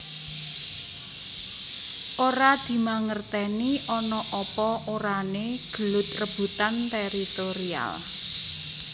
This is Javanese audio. Ora dimangertèni ana apa orané gelut rebutan teritorial